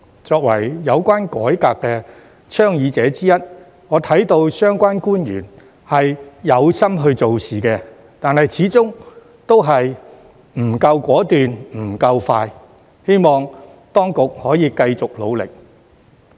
作為有關改革倡議者之一，我看到相關官員是有心做事的，但始終不夠果斷、不夠快，希望當局可以繼續努力。